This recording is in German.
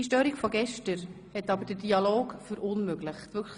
Die gestrige Störung hat aber den Dialog verunmöglicht.